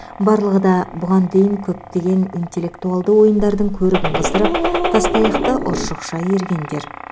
барлығы да бұған дейін көптеген интеллектуалды ойындардың көрігін қыздырып тастаяқты ұршықша иіргендер